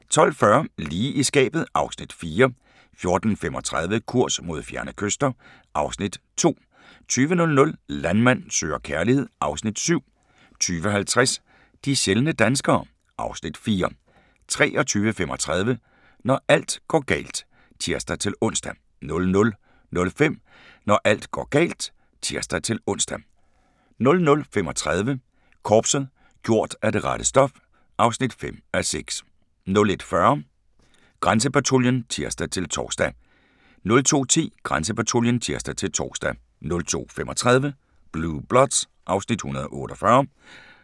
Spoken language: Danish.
12:40: Lige i skabet (Afs. 4) 14:35: Kurs mod fjerne kyster (Afs. 2) 20:00: Landmand søger kærlighed (Afs. 7) 20:50: De sjældne danskere (Afs. 4) 23:35: Når alt går galt (tir-ons) 00:05: Når alt går galt (tir-ons) 00:35: Korpset - gjort af det rette stof (5:6) 01:40: Grænsepatruljen (tir-tor) 02:10: Grænsepatruljen (tir-tor) 02:35: Blue Bloods (Afs. 148)